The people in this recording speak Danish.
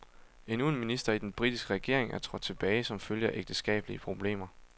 Endnu en minister i den britiske regering er trådt tilbage som følge af ægteskabelige problemer.